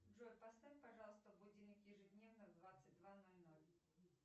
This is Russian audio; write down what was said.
джой поставь пожалуйста будильник ежедневно в двадцать два ноль ноль